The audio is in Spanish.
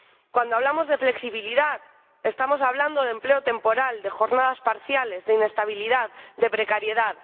Cuando hablamos de flexibilidad, estamos hablando de empleo temporal, de jornadas parciales, de inestabilidad, de precariedad.